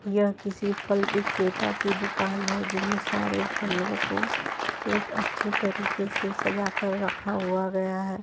यह किसी फल विक्रेता की दुकान है जिन्हें सारे फलों को एक अच्छी तरह तरीके से सजा कर रखा हुआ गया है।